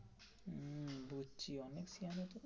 সেয়ানা তো.